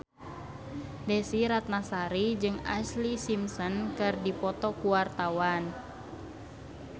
Desy Ratnasari jeung Ashlee Simpson keur dipoto ku wartawan